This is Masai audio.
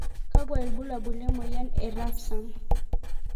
Kakwa ibulabul lemoyian e Refsum